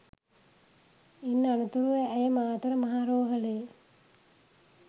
ඉන් අනතුරුව ඇය මාතර මහ රෝහලේ